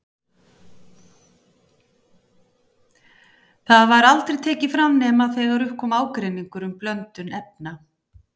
Það var aldrei tekið fram nema þegar upp kom ágreiningur um blöndun efna.